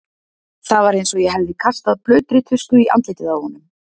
Það var eins og ég hefði kastað blautri tusku í andlitið á honum.